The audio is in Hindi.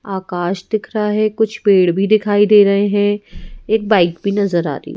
आकाश दिख रहा है कुछ पेड़ भी दिखाई दे रहे हैं एक बाइक भी नजर आ रही--